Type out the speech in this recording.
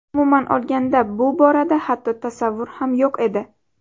Umuman olganda bu borada hatto tasavvur ham yo‘q edi.